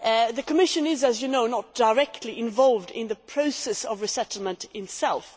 The Commission is, as you know, not directly involved in the process of resettlement itself.